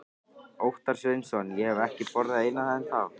Óttar Sveinsson: Ég hef ekki borðað eina ennþá?